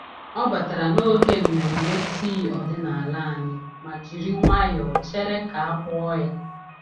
Ọ batara n'oge nmenme tii ọdịnala anyị ma jiri nwayọọ chere ka a kpọọ ya.